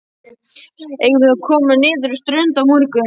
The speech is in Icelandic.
Eigum við að koma niður á strönd á morgun?